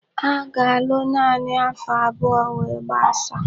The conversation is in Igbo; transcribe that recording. Ha ga-alụ naanị afo abụọ we gbasaa.